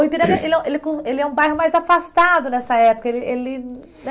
O Ipiranga, ele é ele com ele é um bairro mais afastado nessa época, ele ele é